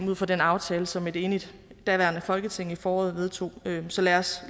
ud fra den aftale som et enigt daværende folketing i foråret vedtog så lad os